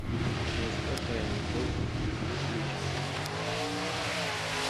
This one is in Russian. жестокая любовь включай